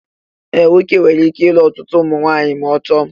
Ee, nwoke nwere ike ịlụ ọtụtụ ụmụnwaanyị ma ọ chọọ